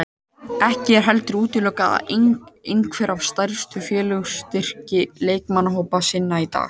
Ekki er heldur útilokað að einhver af stærstu félögunum styrki leikmannahópa sína í dag.